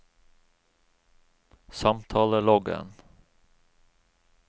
samtaleloggen